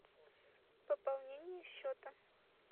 пополнение счета